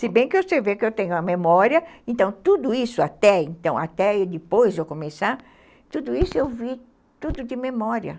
Se bem que você vê que eu tenho a memória, então tudo isso, até e depois eu começar, tudo isso eu vi tudo de memória.